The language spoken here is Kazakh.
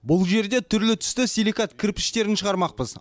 бұл жерде түрлі түсті силикат кірпіштерін шығармақпыз